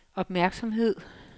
opmærksomhed